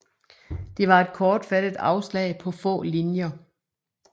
Det var et kortfattet afslag på få linjer